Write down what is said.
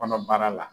Kɔnɔbara la